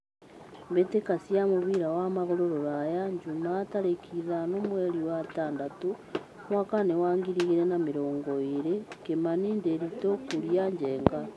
Mbĩ tĩ ka cia mũbira wa magũrũ Ruraya Jumaa tarĩ ki ithano mweri wetandatũ mwakainĩ wa ngiri igĩ rĩ na mĩ rongo ĩ rĩ : Kimani, Ndiritu, Kuria, Njenga.